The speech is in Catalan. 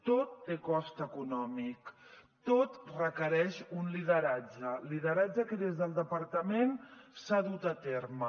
tot té cost econòmic tot requereix un lideratge lideratge que des del departament s’ha dut a terme